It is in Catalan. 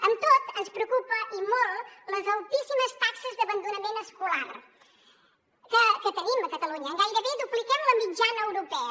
amb tot ens preocupen i molt les altíssimes taxes d’abandonament escolar que tenim a catalunya gairebé dupliquem la mitjana europea